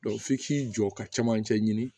f'i k'i jɔ ka camancɛ ɲini